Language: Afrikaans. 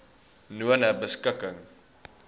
nonebeskikking